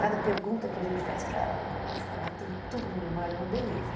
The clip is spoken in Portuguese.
Cada pergunta que a gente faz para ela, ela começa a falar, tem tudo na memória, é uma beleza.